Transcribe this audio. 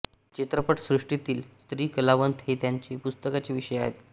चित्रपटसृष्टीतील स्त्री कलावंत हे त्यांच्या पुस्तकाचे विषय आहेत